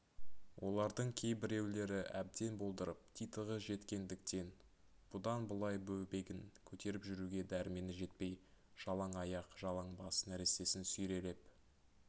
олардың кей біреулері әбден болдырып титығы жеткендіктен бұдан былай бөбегін көтеріп жүруге дәрмені жетпей жалаңаяқ жалаңбас нәрестесін сүйрелеп